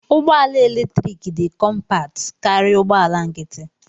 Ụgbọ ala eletrik dị kọmpat karịa ụgbọ ala nkịtị.